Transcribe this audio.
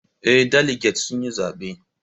Eh, daliget sun yi zaben